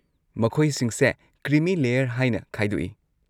ꯃꯈꯣꯏꯁꯤꯡꯁꯦ creamy layer ꯍꯥꯏꯅ ꯈꯥꯏꯗꯣꯛꯏ꯫